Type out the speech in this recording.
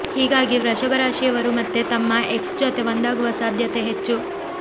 ಹೀಗಾಗಿ ವೃಷಭ ರಾಶಿಯವರು ಮತ್ತೆ ತಮ್ಮ ಎಕ್ಸ್ ಜೊತೆ ಒಂದಾಗುವ ಸಾಧ್ಯತೆ ಹೆಚ್ಚು